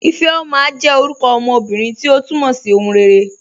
Ifeoma jẹ́ orúkọ ọmọ ọmọbírín, tí o túmọ̀ sí "ọ̀hùn rẹ̀ré.